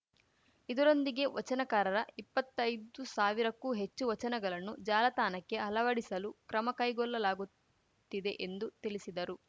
ಇದರೊಂದಿಗೆ ವಚನಕಾರರ ಇಪ್ಪತ್ತೈದು ಸಾವಿರಕ್ಕೂ ಹೆಚ್ಚು ವಚನಗಲನ್ನು ಜಾಲತಾಣಕ್ಕೆ ಅಲವಡಿಸಲೂ ಕ್ರಮ ಕೈಗೊಲ್ಲಲಾಗುತ್ತಿದೆ ಎಂದು ತಿಳಿಸಿದರು